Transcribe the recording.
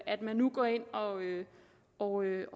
at man nu går ind og og